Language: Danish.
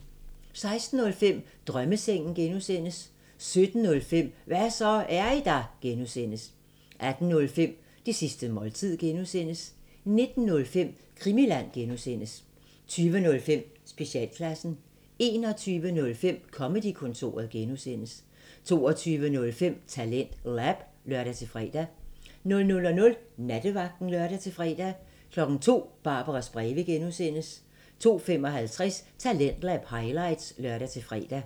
16:05: Drømmesengen (G) 17:05: Hva' så, er I der? (G) 18:05: Det sidste måltid (G) 19:05: Krimiland (G) 20:05: Specialklassen 21:05: Comedy-kontoret (G) 22:05: TalentLab (lør-fre) 00:00: Nattevagten (lør-fre) 02:00: Barbaras breve (G) 02:55: Talentlab highlights (lør-fre)